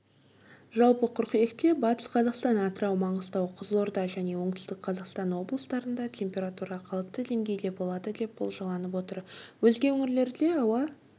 жалпы қыркүйекте батыс қазақстан атырау маңғыстау қызылорда және оңтүстік қазақстан облыстарында температура қалыпты деңгейде болады деп болжанып отыр өзге өңірлерде ауа